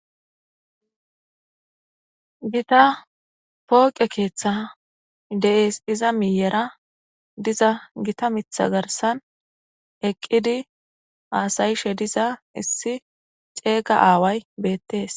gita pooqe keeththa de7es iza miyera diza gita mitha garsan eqqidi aasayishe diza issi ceega aaway beettees